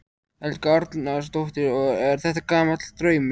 Helga Arnardóttir: Og er þetta gamall draumur?